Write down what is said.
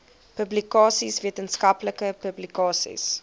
publikasies wetenskaplike publikasies